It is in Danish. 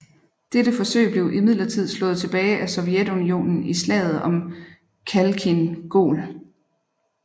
Dette forsøg blev imidlertid slået tilbage af Sovjetunionen i Slaget om Khalkhin Gol